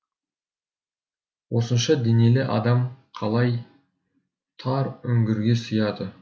осынша денелі адам қалай тар үңгірге сыяды